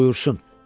Buyursun.